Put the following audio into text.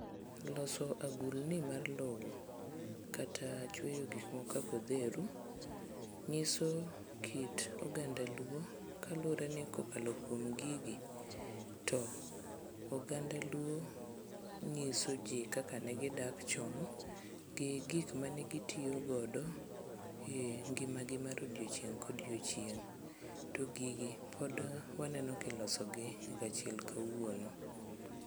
Loso agulni mar lowo, kata chweyo gikmoko kaka odheru, ng'iso kit oganda luo kaluwre ni kokalo kuom gigi to oganda luo ng'iso ji kaka ne gidak chon gi gikma ne gitiyo godo e ngimagi mar odiochieng' kodiochieng' to gigi pod waneno kilosogi nyaka chieng' kawuono.